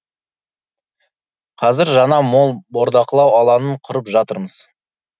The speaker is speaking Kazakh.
қазір жаңа мол бордақылау алаңын құрып жатырмыз